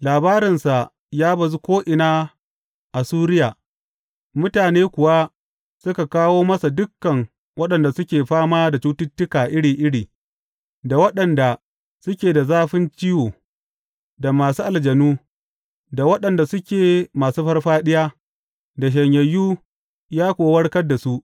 Labarinsa ya bazu ko’ina a Suriya, mutane kuwa suka kawo masa dukan waɗanda suke fama da cututtuka iri iri, da waɗanda suke da zafin ciwo, da masu aljanu, da waɗanda suke masu farfaɗiya, da shanyayyu, ya kuwa warkar da su.